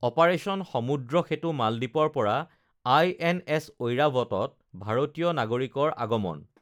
operation Samudra Setu মালদ্বীপৰ পৰা INS ঐৰাৱতত ভাৰতীয় নাগৰিকৰ আগমন